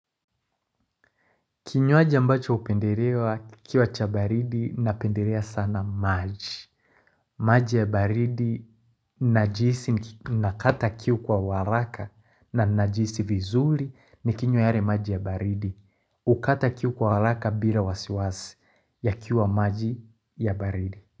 Kinywaji ambacho upenderewa kikiwa cha baridi napenderea sana maji. Maji ya baridi najihisi nakata kiu kwa uwaraka na najihisi vizuri ni kinywa yare maji ya baridi. Ukata kiu kwa waraka bila wasiwasi ya kiu wa maji ya baridi.